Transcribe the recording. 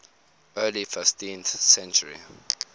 early fifteenth century